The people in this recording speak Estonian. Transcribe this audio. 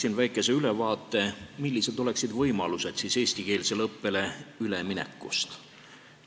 Annan väikese ülevaate, millised võimalused on eestikeelsele õppele üleminekuks.